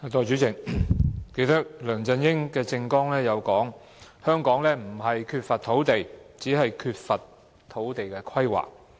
代理主席，梁振英其實亦曾在政綱中提到，香港不是缺乏土地，只是缺乏土地規劃。